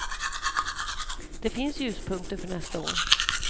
Det finns ljuspunkter för nästa år.